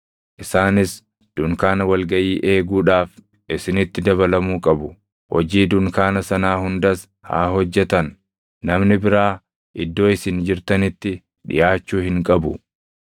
Isaanis dunkaana wal gaʼii eeguudhaaf isinitti dabalamuu qabu; hojii dunkaana sanaa hundas haa hojjetan. Namni biraa iddoo isin jirtanitti dhiʼaachuu hin qabu.